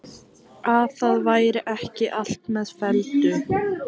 Að það væri ekki allt með felldu.